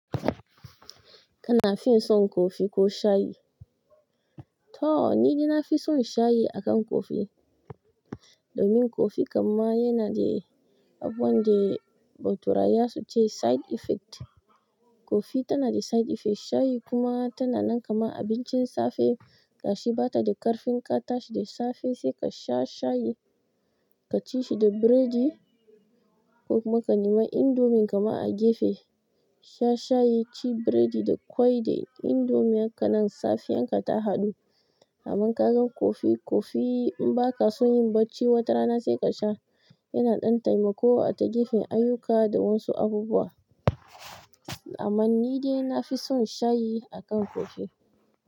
Kana fin son coffee ko shayi? To ni dai na fi son shayi akan coffee. Domin coffee kam ma yana da abun da baturaye za su ce side effect. Coffee tanada side effect shayi kuma tananan kaman abincin safe gashi bata da ƙarfin ka tashi da safe sai ka sha shayi, ka ci shi da biredi ko kuma ka nema indomin kaman a gefe. Sha shayi, ci biredi da ƙwai da indomi, hakanan safiyan ka ta haɗu. Domin kagan coffee in bakasan yin bacci watarana sai kasha yana ɗan taimako a ta gefen ayyuka da wasu abubuwa. Aman ni dai na fi son shayi akan kofi.